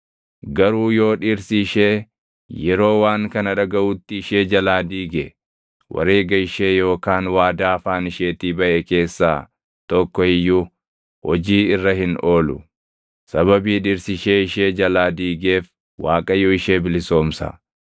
Garuu yoo dhirsi ishee yeroo waan kana dhagaʼutti ishee jalaa diige, wareega ishee yookaan waadaa afaan isheetii baʼe keessaa tokko iyyuu hojii irra hin oolu; sababii dhirsi ishee ishee jalaa diigeef, Waaqayyo ishee bilisoomsa.